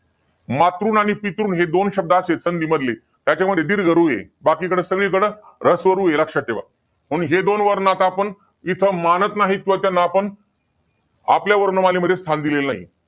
मातृम आणि पितृम हे दोन शब्द आहेत असे संधी मधले, त्याच्यामध्ये दीर्घ रू आहे. बाकीकडं सगळीकड ह्रस्व रु आहे. लक्षात ठेवा. मग हे दोन वर्ण आता आपण इथं, मानत नाहीत व त्यांना आपण आपल्या वर्णमालेमध्ये स्थान दिलेलं नाही.